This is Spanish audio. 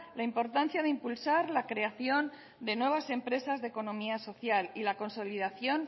la importancia de impulsar la creación de nuevas empresas de economía social y la consolidación